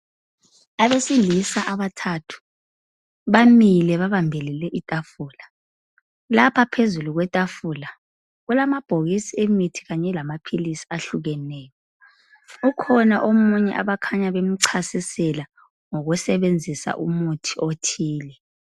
Abesilisa abathathu bamile babambelele itafula, lapha phezulu kwetafula kulamabhokisi emithi kanye lamaphilizi ahlukeneyo, ukhona omunye abakhanya bemchasisela ngokusebenzisa umuthi othile.